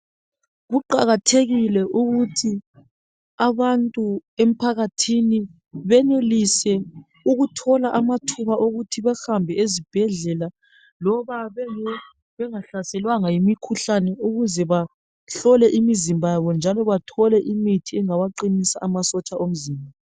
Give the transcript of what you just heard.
Kuqakathekile ukuthi abantu emphakathini benelise ukuthola amathuba okuthi behambe ezibhedlela loba bengahlaselwanga yimikhuhlane ukuze bahlole imzimba yabo njalo bathole imithi engawaqinisa amasotsha omzimba.